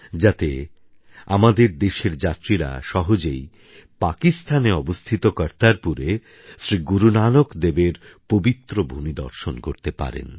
যাতে আমাদের দেশের যাত্রীরা সহজেই পাকিস্তানে অবস্থিত কর্তারপুরে শ্রী গুরুনানক দেবের পবিত্র ভূমি দর্শন করতে পারেন